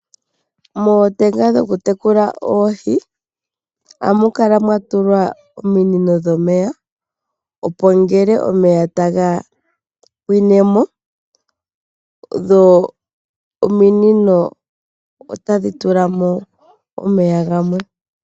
Mootenga dhoku tekula oohi ohamu kala mwatulwa ominino dhomeya opo ngele omeya taga pwine mo dho ominino otadhi tula mo omeya gamwe